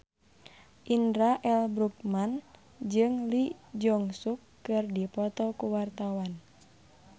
Indra L. Bruggman jeung Lee Jeong Suk keur dipoto ku wartawan